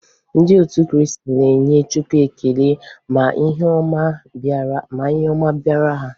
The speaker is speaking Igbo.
Ndị otu Kriisti na-enye chukwu ekele ma ihe ọma bịara ha.